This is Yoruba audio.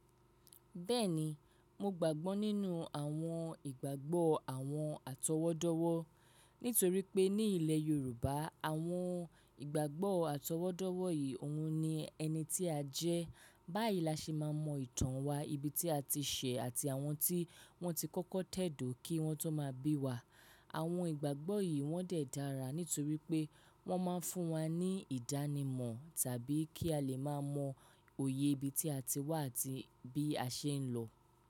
Bẹ́ẹ̀ni, mo gbàgbọ́ nínú àwọn ìgbàgbọ́ àwọn atọwọ́dọ́wọ́, nítorí pé ní ilẹ̀ Yorùbá àwọn ìgbàgbọ́ àtọwọ́dọ́wọ́ yìí òun ni ẹni tí a jẹ́. Báyìí la ṣe máa mọ ìtàn wa, ibi tí a ti ṣe àti àwọn tí wọ́n ti kọ́kọ́ tẹ̀dó kí wọ́n tó máa bí wa. Àwọn ìgbàgbọ́ yìí wọ́n de dàra nítorí pé wọ́n máa ń fún wa ní ìdánimọ̀ tàbí kí a lè máa mọ òye ibi tí a ti wá àti bí a ṣe ń lọ.